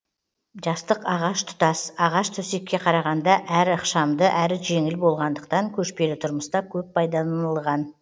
жастық ағаш тұтас ағаш төсекке қарағанда әрі ықшамды әрі жеңіл болғандықтан көшпелі тұрмыста көп пайдаланылған